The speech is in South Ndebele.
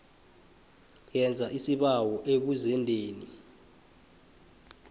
yenza isibawo ebuzendeni